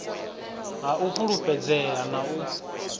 ha u fhulufhedzea na u